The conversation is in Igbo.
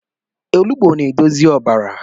Ọnụgbụ na-edozi ọbara